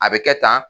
A bɛ kɛ tan